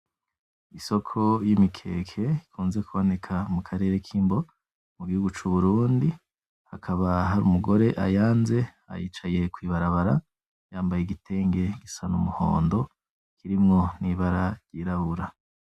Isoko y'imikeke ikunze kuboneka mu karere k,imbo mu gihugu c,uburundi hakaba hari umugore ayanze yicaye kw'ibarabara yambaye igitenge gisa n'umuhondo kirimwo n'ibara ry'irabura .